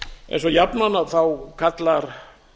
eins og jafnan kalla